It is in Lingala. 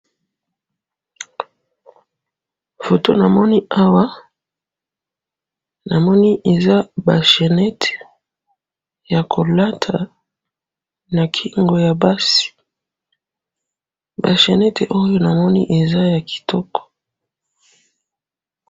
photo namoni awa namoni eza ba chenettte ya lolata na kingo ya basi ba chenette namoni awa eza ya kitoko.